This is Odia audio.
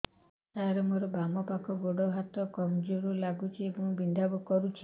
ସାର ମୋର ବାମ ପାଖ ଗୋଡ ହାତ କମଜୁର ଲାଗୁଛି ଏବଂ ବିନ୍ଧା କରୁଛି